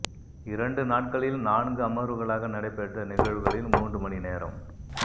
இரண்டு நாட்களில் நான்கு அமர்வுகளாக நடைபெற்ற நிகழ்வுகளில் மூன்று மணிநேரம்